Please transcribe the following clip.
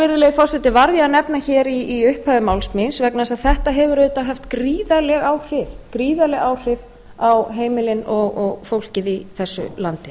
virðulegi forseti varð ég að nefna hér í upphafi máls míns vegna þess að þetta hefur auðvitað haft gríðarleg áhrif á heimilin og fólkið í þessu landi